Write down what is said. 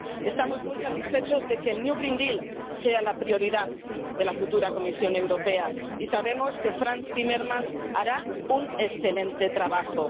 Estamos muy satisfechos de que el Nuevo Pacto Verde sea la prioridad de la futura Comisión Europea, y sabemos que Frans Timmermans hará un excelente trabajo.